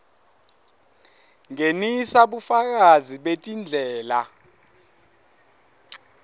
ngenisa bufakazi betindlela